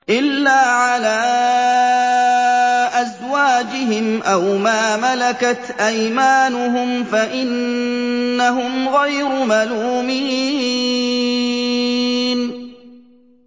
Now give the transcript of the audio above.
إِلَّا عَلَىٰ أَزْوَاجِهِمْ أَوْ مَا مَلَكَتْ أَيْمَانُهُمْ فَإِنَّهُمْ غَيْرُ مَلُومِينَ